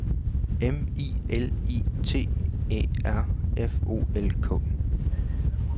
M I L I T Æ R F O L K